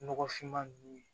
Nɔgɔfinman ninnu